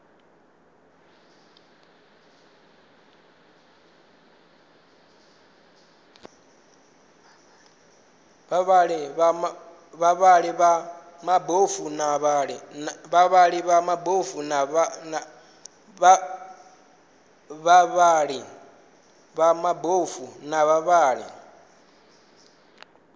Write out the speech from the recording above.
vhavhali vha mabofu na vhavhali